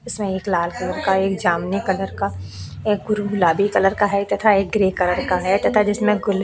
इसमें एक लाल कलर काएक जामुनी कलर का एक गुरु गुलाबी कलर का है तथा एक ग्रे कलर का है तथा जिसमें गुल --